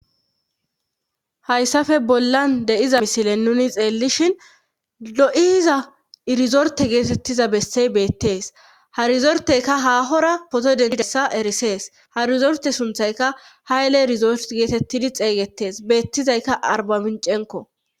hayssafe bollan de7iza misile nuni xeellishin lo7iiza irizorte geetettiza bessey beettees harzorteyka haahora poto dentidessa erisees harizorte sunthayka hayele irizort geetettidi xeygetees beettizayka arbamincenko